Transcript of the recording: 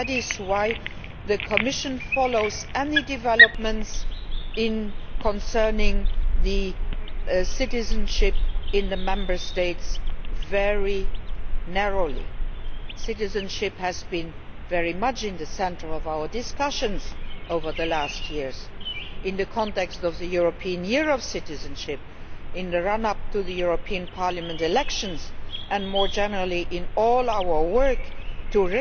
That is why the Commission follows any developments concerning citizenship in the Member States very closely. Citizenship has been very much in the centre of our discussions in recent years in the context of the European Year of Citizenship, in the run up to the European Parliament elections, and more generally in all our work